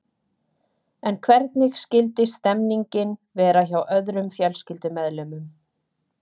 En hvernig skyldi stemningin vera hjá öðrum fjölskyldumeðlimum?